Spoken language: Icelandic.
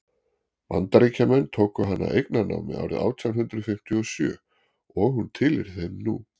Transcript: bandaríkjamenn tóku hana eignarnámi árið átján hundrað fimmtíu og sjö og hún tilheyrir þeim nú